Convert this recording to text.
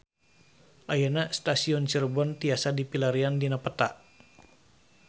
Ayeuna Stasiun Cirebon tiasa dipilarian dina peta